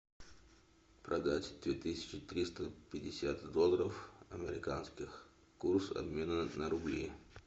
продать две тысячи триста пятьдесят долларов американских курс обмена на рубли